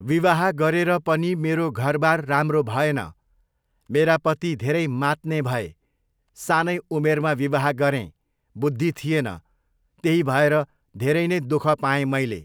विवाह गरेर पनि मेरो घरबार राम्रो भएन, मेरा पति धेरै मात्ने भए, सानै उमेरमा विवाह गरेँ, बुद्धि थिएन, त्यही भएर धेरै नै दुःख पाएँ मैले।